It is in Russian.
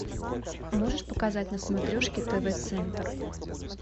можешь показать на смотрешке тв центр